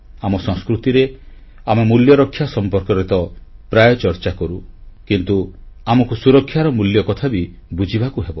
ଆମ ସଂସ୍କୃତିରେ ଆମେ ମୂଲ୍ୟରକ୍ଷା ସମ୍ପର୍କରେ ତ ପ୍ରାୟଃ ଚର୍ଚ୍ଚା କରୁ କିନ୍ତୁ ଆମକୁ ସୁରକ୍ଷାର ମୂଲ୍ୟ କଥା ବି ବୁଝିବାକୁ ହେବ